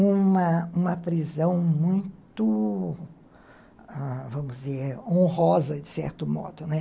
uma uma prisão muito, ãh, vamos dizer, honrosa, de certo modo, né.